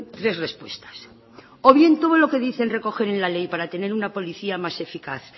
tres respuestas o bien todo lo que dicen recoger en la ley para tener una policía más eficaz